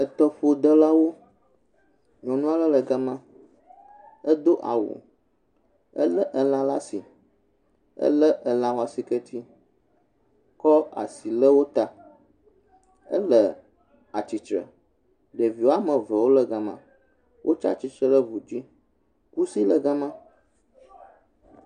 Etɔƒodelawo. Nyɔnu aɖe le ga ma, edo awu ele elã ɖe asi, ele alã ƒe asiketi kɔ asi le wo ta. Ele atsitre. Ɖevi wɔme eve wo le ga ma. Wotsi atsitre ɖe u dzi. Kusi le ga ma.